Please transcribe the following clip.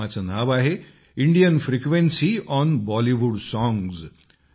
या कार्यक्रमाचे नाव आहे Indian frequency on Bollywood songs